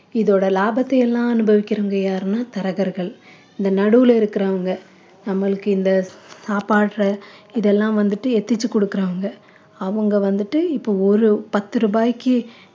இதோட லாபத்தை எல்லாம் அனுபவிக்கிறவங்க யாருன்னா தரகர்கள் இந்த நடுவில இருக்கிறவங்க நம்மளுக்கு இந்த சாப்பட்ற இதெல்லாம் வந்துட்டு எத்திச்சு குடுக்குறவங்க அவங்க வந்துட்டு இப்ப ஒரு பத்து ரூபாய்க்கு